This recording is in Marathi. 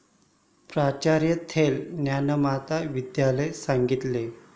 प्राचार्य थील, ज्ञानमाता विद्यालय, सांगली